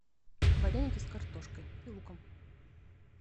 вареники с картошкой и луком